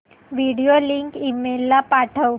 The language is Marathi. व्हिडिओ लिंक ईमेल ला पाठव